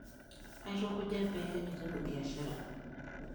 Aitukuja pee aiteru biashara.